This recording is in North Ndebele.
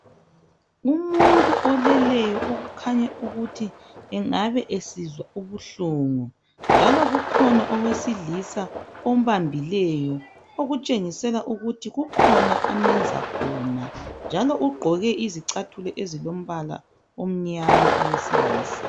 Umuntu oleleyo okukhanya ukuthi engabe esizwa ubuhlungu njalo kukhona owesilisa ombambileyo ukutshengisela ukuthi kukhona amenza khona njalo ugqoke izicathulo ezilombala omnyama owesilisa.